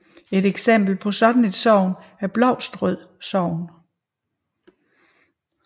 Et eksempel på sådan et sogn er Blovstrød sogn